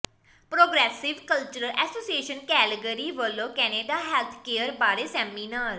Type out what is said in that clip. progressive cultural association Calgary ਵੱਲੋਂ Canada health care ਬਾਰੇ seminar